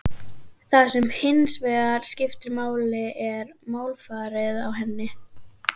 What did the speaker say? Það sem hins vegar skiptir máli er málfarið á henni.